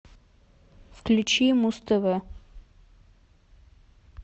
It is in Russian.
включи муз тв